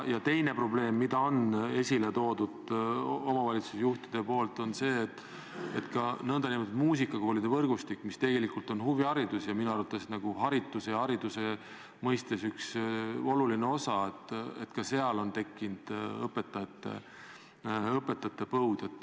Teine probleem, mille on esile toonud omavalitsusjuhid, on see, et ka nn muusikakoolide võrgustikus on tekkinud õpetajate põud.